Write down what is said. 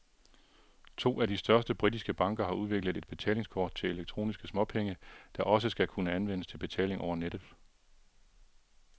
To af de største britiske banker har udviklet et betalingskort til elektroniske småpenge, der også skal kunne anvendes til betaling over nettet.